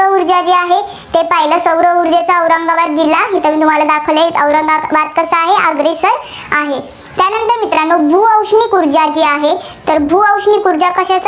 ते पाहिलं. सौर ऊर्जेत औरंगाबाद जिल्ह्या मित्रांनो तुम्हाला दाखवलं औरंगाबाद कसा आहे? अग्रेसर आहे. त्यानंतर मित्रांनो भूऔष्णिक ऊर्जा जी आहे तर भूऔष्णिक ऊर्जा कशी